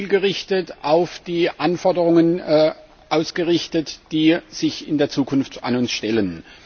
Es ist zielgerichtet auf die Anforderungen ausgerichtet, die sich in der Zukunft an uns stellen.